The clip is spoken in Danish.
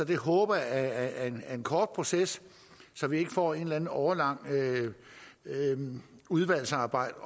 det håber jeg er en kort proces så vi ikke får et eller andet årelangt udvalgsarbejde